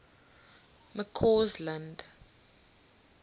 mccausland